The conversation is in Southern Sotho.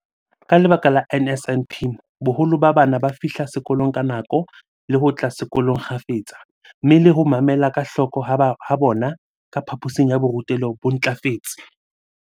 Ka lebaka la NSNP, boholo ba bana ba fihla sekolong ka nako le ho tla sekolong kgafetsa, mme le ho mamela ka hloko ha bona ka phaphosing ya borutelo ho ntlafetse.